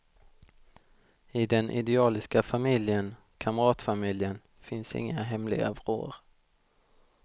I den idealiska familjen, kamratfamiljen, finns inga hemliga vrår.